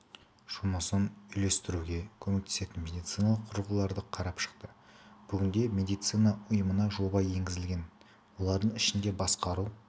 жұмысын үйлестіруге көмектесетін медициналық құрылғыларды қарап шықты бүгінде медицина ұйымына жоба енгізілген олардың ішінде басқару